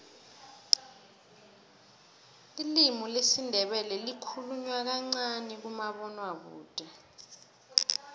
ilimi lesindebele likhulunywa kancani kumabonwakude